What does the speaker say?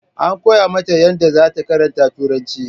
An koya mata yadda zata karanta turanci